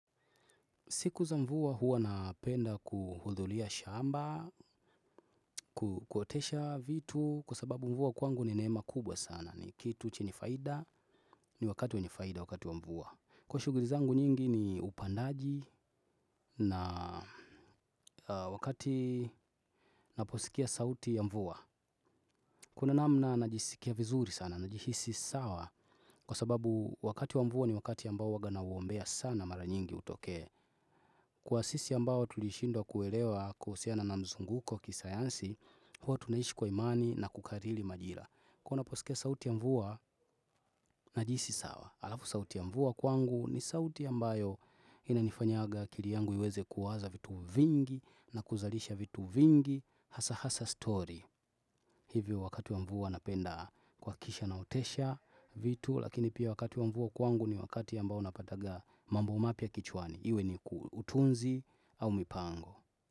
Siku za mvua huwa napenda kuhudhuria shamba, kuotesha vitu kwa sababu mvua kwangu ni neema kubwa sana. Ni kitu chenye faida, ni wakati wenye faida wakati wa mvua. Kwa shughuli zangu nyingi ni upandaji na wakati naposikia sauti ya mvua. Kuna namna najisikia vizuri sana, najihisi sawa kwa sababu wakati wa mvua ni wakati ambao waga nauombea sana mara nyingi utokee. Kwa sisi ambao tulishindwa kuelewa kuhusiana na mzunguko kisayansi, huwa tunaishi kwa imani na kukariri majira. Ko naposikia sauti ya mvua najihisi sawa. Alafu sauti ya mvua kwangu ni sauti ambayo inanifanyaga akili yangu iweze kuwaza vitu vingi na kuzalisha vitu vingi, hasa hasa story. Hivyo wakati ya mvua napenda kuhakikisha naotesha vitu, lakini pia wakati ya mvua kwangu ni wakati ambao napataga mambo mapya kichwani. Iwe ni utunzi au mipango.